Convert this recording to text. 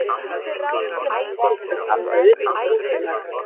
Öllum er frjálst að standa utan trúfélaga.